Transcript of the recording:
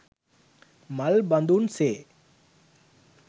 මල් බඳුන් සේ